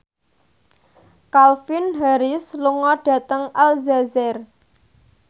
Calvin Harris lunga dhateng Aljazair